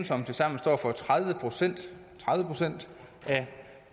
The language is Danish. som tilsammen står for tredive procent af